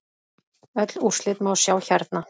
Öll úrslit má sjá hérna.